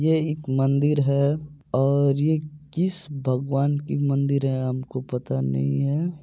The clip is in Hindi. ये एक मंदिर हैऔर यह किस भगवन की मंदिर है हमको पता नहीं है |